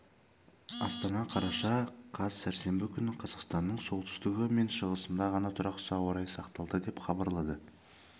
астана қараша қаз сәрсенбі күні қазақстанның солтүстігі мен шығысында ғана тұрақсыз ауа райы сақталады деп хабарлады